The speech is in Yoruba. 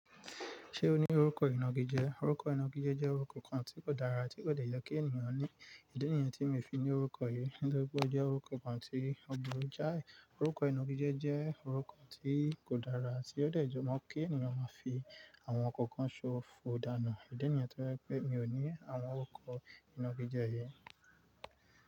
Ṣé o ní orúkọ ìnagijẹ? Orúkọ ìnagijẹ jẹ́ orúkọ kan tí kò dára ti kò dẹ́ye kí ènìyàn ní. Idi yen tí mi fi ní orúkọ yì nítorí pé ó jẹ́ orúkọ kan tí òpuru jáì. Orúkọ ìnagijẹ jẹ́ orúkọ tí kò dára àti ó dẹ́yọ̀ mọ́ kí ènìyàn máa fi àwọn kankan ṣo fòòdánù. Idi yen tó je pé mi ò ní àwọn orúkọ ìnagijẹ yẹn.